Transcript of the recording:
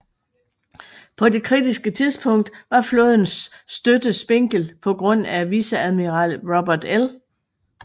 På det kritiske tidspunkt var flådens støtte spinkel på grund af viceadmiral Robert L